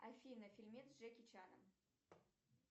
афина фильмец с джеки чаном